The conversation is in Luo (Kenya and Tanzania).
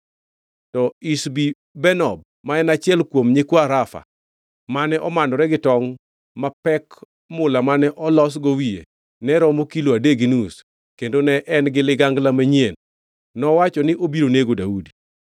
To Ishbi-Benob ma en achiel kuom nyikwa Rafa, mane omanore gi tongʼ ma pek mula mane olosgo wiye ne romo kilo adek gi nus kendo ne en-gi ligangla manyien, nowacho ni obiro nego Daudi.